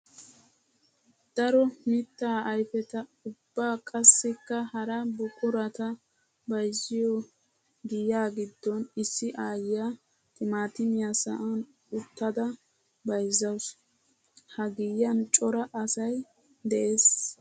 Daro mitta ayfetta ubba qassikka hara buquratta bayzziyo giya gidon issi aayiya timatimmiya sa'an uttadda bayzzawussu. Ha giyan cora asay de'ees.